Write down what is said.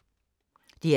DR K